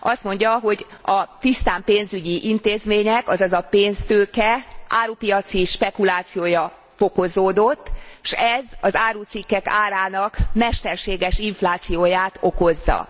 Azt mondja, hogy a tisztán pénzügyi intézmények, azaz a pénztőke árupiaci spekulációja fokozódott, s ez az árucikkek árának mesterséges inflációját okozza.